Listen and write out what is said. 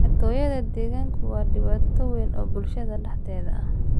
Xatooyada digaaggu waa dhibaato weyn oo bulshada dhexdeeda ah.